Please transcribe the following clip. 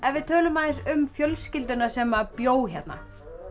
við tölum aðeins um fjölskylduna sem bjó hérna